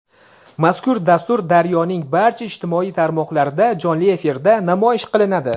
Mazkur dastur "Daryo"ning barcha ijtimoiy tarmoqlarida jonli efirda namoyish qilinadi.